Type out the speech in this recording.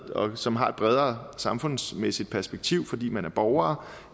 som har et bredere samfundsmæssigt perspektiv fordi man er borgere